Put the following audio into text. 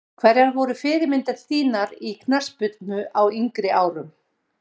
Hverjar voru fyrirmyndir þínar í knattspyrnu á yngri árum?